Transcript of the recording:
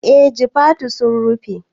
Eh jifatu sun rufe